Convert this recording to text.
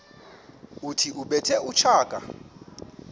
othi ubethe utshaka